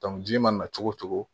ji mana na cogo cogo